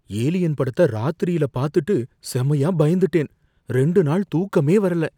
"Alien" படத்த ராத்திரியில பாத்துட்டு செமையா பயந்துட்டேன். ரெண்டு நாள் தூக்கமே வரல.